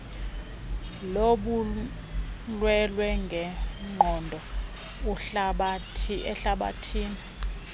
lobulwelwe ngenqondo ehlabathini